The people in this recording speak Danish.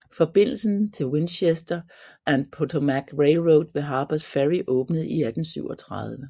Forbindelsen til Winchester and Potomac Railroad ved Harpers Ferry åbnede i 1837